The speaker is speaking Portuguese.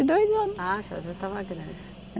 e dois anos. Ah, a senhora já estava grande.